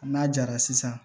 N'a jara sisan